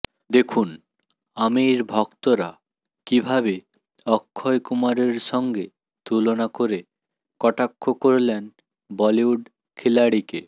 দেখুন আমির ভক্তরা কীভাবে অক্ষয় কুমারের সঙ্গে তুলনা করে কটাক্ষ করলেন বলিউড খিলাড়িকে